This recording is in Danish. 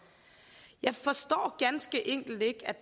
jeg forstår ganske enkelt ikke at